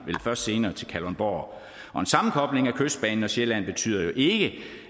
vel først senere til kalundborg og en sammenkobling af kystbanen og sjælland betyder jo ikke